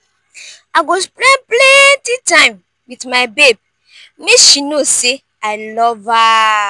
i go spend plenty time wit my babe make she know say i love love her.